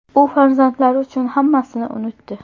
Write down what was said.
U farzandlari uchun hammasini unutdi.